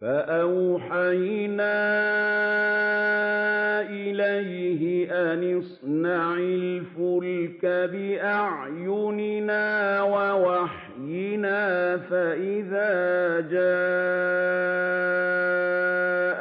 فَأَوْحَيْنَا إِلَيْهِ أَنِ اصْنَعِ الْفُلْكَ بِأَعْيُنِنَا وَوَحْيِنَا فَإِذَا جَاءَ